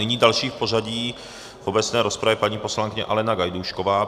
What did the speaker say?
Nyní další v pořadí v obecné rozpravě, paní poslankyně Alena Gajdušková.